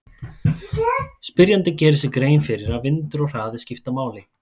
Spyrjandi gerir sér grein fyrir að vindur og hraði skipta máli.